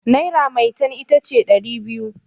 naira metan ita ce dari biyu